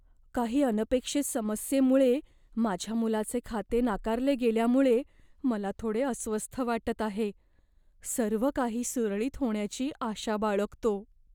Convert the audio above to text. काही अनपेक्षित समस्येमुळे माझ्या मुलाचे खाते नाकारले गेल्यामुळे मला थोडे अस्वस्थ वाटत आहे, सर्व काही सुरळीत होण्याची आशा बाळगतो.